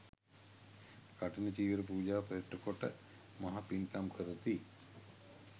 කඨින චීවර පූජාව පෙරටුකොට මහ පින්කම් කරති.